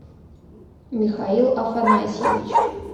михаил афанасьевич